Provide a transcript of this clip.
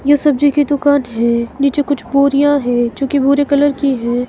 यह सब्जी की दुकान है नीचे कुछ बोरियां है जो कि भुरे कलर की है।